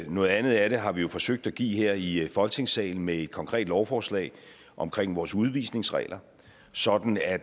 noget andet af det har vi jo forsøgt at give her i folketingssalen med et konkret lovforslag omkring vores udvisningsregler sådan at